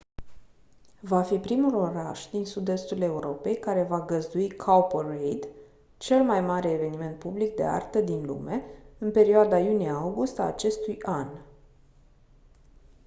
va fi primul oraș din sud-estul europei care va găzdui cowparade cel mai mare eveniment public de artă din lume în perioada iunie august a acestui an